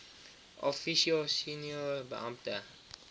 officio senior beampte